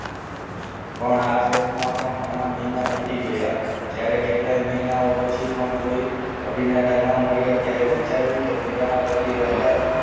ઘણા શોધમાં પણ ઘણા મહિના વીતી ગયા જ્યારે કેટલાય મહિના પછી કોઈ અભિનેતા ન મળ્યા ત્યારે વિચાર્યું કે મીરાના પતિ રાજા